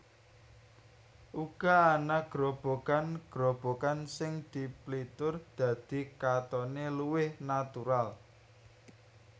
Uga ana grobogan grobogan sing diplitur dadi katone luwih natural